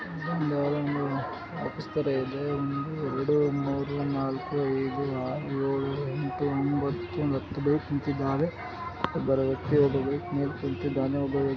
ಇದು ಒಂದು ಯಾವ್ದೋ ಒಂದು ಆಫೀಸ್ ತರ ಇದೆ ಒಂದು ಎರೆಡು ಮೂರು ನಾಲ್ಕು ಐದು ಆರು ಏಳು ಎಂಟು ಒಂಬತ್ತು ಒಂದು ಹತ್ತು ಬೈಕ್ ನಿಂತಿದಾವೆ ಅದು ಬರೋವೊತ್ತಿಗೆ ಒಬ್ಬ ಬೈಕ್ ಮೇಲೆ ಕುಂತಿದ್ದಾನೆ ಒಬ್ಬ ವ್ಯ